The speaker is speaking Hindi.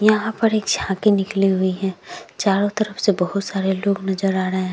यहाँ पर एक झांकी निकली हुई है चारों तरफ से बोहोत सारे लोग नजर आ रहे हैं।